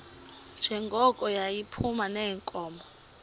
njengoko yayiphuma neenkomo